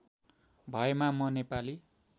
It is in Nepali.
भएमा म नेपाली